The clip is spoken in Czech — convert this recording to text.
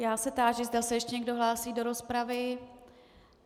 Já se táži, zda se ještě někdo hlásí do rozpravy.